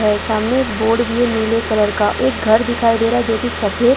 सामने एक बोर्ड भी है नीले कलर का एक घर दिखाई दे रहा है जोकि सफेद--